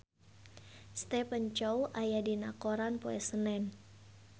Stephen Chow aya dina koran poe Senen